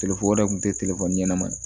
Telefɔni wɛrɛ tun tɛ ɲɛnama ye